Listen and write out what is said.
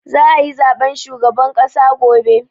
Za a yi zaben shugaban ƙasa gobe.